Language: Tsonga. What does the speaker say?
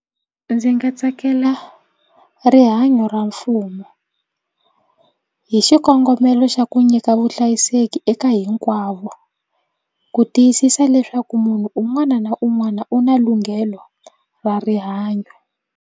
Ndzi nga tsakela rihanyo ra mfumo hi xikongomelo xa ku nyika vuhlayiseki eka hinkwavo ku tiyisisa leswaku munhu un'wana na un'wana u na lunghelo ra rihanyo.